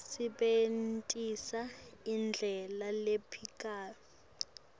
sebentisa indlela lephikako